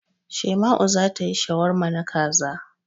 Shaima'u za ta yi shawarma na kaza.